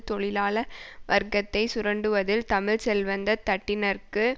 தொழிலாள வர்க்கத்தை சுரண்டுவதில் தமிழ் செல்வந்த தட்டினர்க்கு